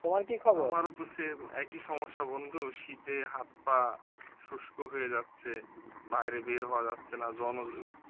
আমারও তো same একই সমস্যা বন্ধু শীতে হাত পা শুস্ক হয়ে যাচ্ছে বাইরে বের হওয়া যাচ্ছে না